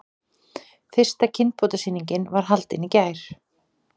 Fyrsta kynbótasýningin var haldin í gær